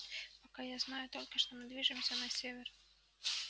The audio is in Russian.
пока я знаю только что мы движемся на север